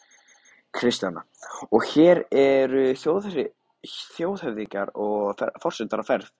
Kristjana: Og hér eru þjóðhöfðingjar og forsetar á ferð?